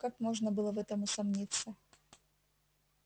как можно было в этом усомниться